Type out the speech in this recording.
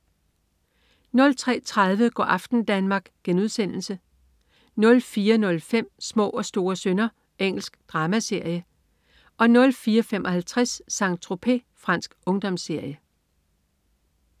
03.30 Go' aften Danmark* 04.05 Små og store synder. Engelsk dramaserie 04.55 Saint-Tropez. Fransk ungdomsserie